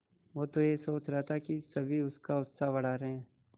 वो तो यह सोच रहा था कि सभी उसका उत्साह बढ़ा रहे हैं